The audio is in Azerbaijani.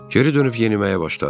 Geri dönüb yeniməyə başladı.